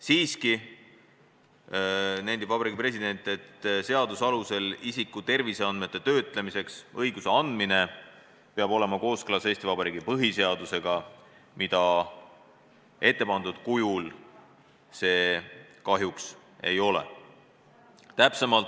Samas nendib Vabariigi President, et seaduse alusel isiku terviseandmete töötlemiseks õiguse andmine peab olema kooskõlas Eesti Vabariigi põhiseadusega, mida see ette pandud kujul kahjuks ei ole.